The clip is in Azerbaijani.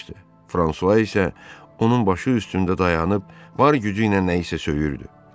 Fransua isə onun başı üstündə dayanıb var gücü ilə nəyisə söyürdü.